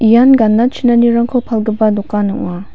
ian gana chinanirangko palgipa dokan ong·a.